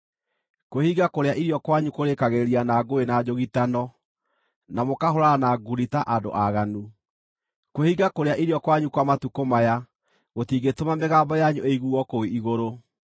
Kwĩhinga kũrĩa irio kwanyu kũrĩĩkagĩrĩria na ngũĩ na njũgitano, na mũkahũũrana na ngundi ta andũ aaganu. Kwĩhinga kũrĩa irio kwanyu kwa matukũ maya gũtingĩtũma mĩgambo yanyu ĩiguo kũu igũrũ.